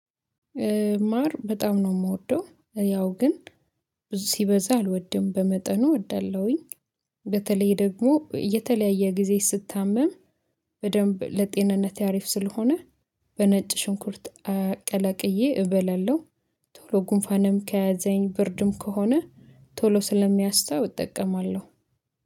ማር በጣም ነው የምወደው ያው ግን ብዙ ሲበዛ አልወድም በመጠኑ እወዳለሁኝ። በተለይ ደግሞ የተለያየ ጊዜ ስታመም በደንብ ለጤንነት አሪፍ ስለሆነ በነጭ ሽንኩርት ቀላቅዬ እበላለሁ። ቶሎ ጉንፋንም ከያዘኝ ብርድም ከሆነ ቶሎ ስለሚያስታው እጠቀማለሁ።